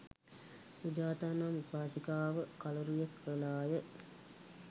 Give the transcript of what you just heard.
සුජාතා නම් උපාසිකාව කළුරිය කළා ය.